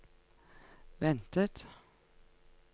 ventet